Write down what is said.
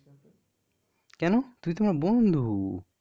কেন? তুই তো আমার বন্ধু.